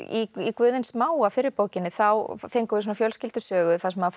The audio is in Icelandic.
Guð hins smáa fyrri bókinni þá fengum við svona fjölskyldusögu þar sem